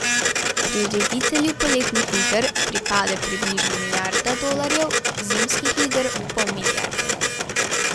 Prireditelju poletnih iger pripade približno milijarda dolarjev, zimskih iger pol milijarde.